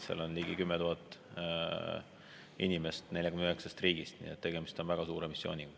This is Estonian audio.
Seal on ligi 10 000 inimest 49 riigist, nii et tegemist on väga suure missiooniga.